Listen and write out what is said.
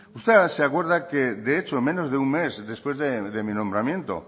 usted ahora se acuerda que de hecho en menos de un mes después de mi nombramiento